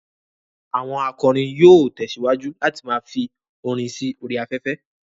Àwọn akọrin yóò tẹ̀síwájú láti ma fi orin sí orí afẹ́fẹ́